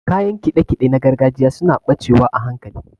Kayan kiɗe-kiɗe na gargajiya suna ɓacewa a hankali.